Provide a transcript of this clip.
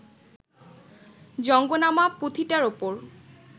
জঙ্গনামা’ পুথিটার ওপর